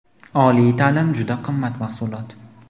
Oliy ta’lim juda qimmat mahsulot.